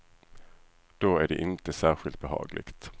Då är det inte särskilt behagligt.